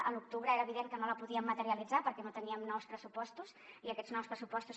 a l’octubre era evident que no la podíem materialitzar perquè no teníem nous pressupostos i aquests nous pressupostos